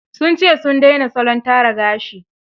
Sun ce sun daina salon tara gashi.